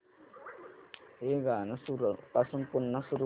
हे गाणं सुरूपासून पुन्हा सुरू कर